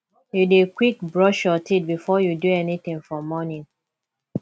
you dey quick brush your teeth before you do anything for morning